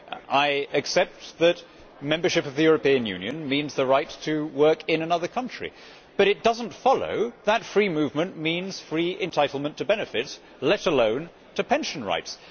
I accept that membership of the European Union means the right to work in another country, but it does not follow that free movement means entitlement to benefits, let alone to pension rights.